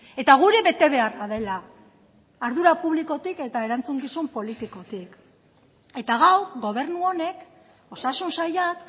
eta gure betebeharra dela ardura publikotik eta erantzukizun politikotik eta gaur gobernu honek osasun sailak